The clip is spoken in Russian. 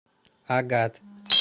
агат